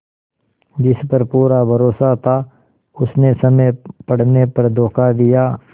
जिस पर पूरा भरोसा था उसने समय पड़ने पर धोखा दिया